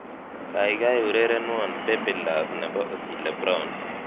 Kaikai urerenwo 'baby love' nebo Otile Brown